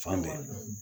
Fan bɛɛ